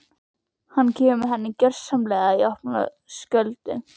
Hann kemur henni gersamlega í opna skjöldu.